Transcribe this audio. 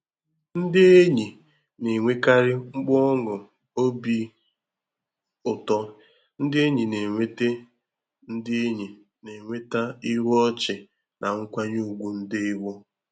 Ndị enyi na-enwekarị mkpu ọñụ obi ụtọ, ndị enyi na-enweta ndị enyi na-enweta ihu ọchị na nkwanye ùgwù ndewo.